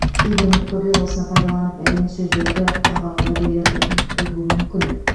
кейбір үміткерлер осыны пайдаланып әдемі сөздерді құрғақ уәделерді үйіп төгуі мүмкін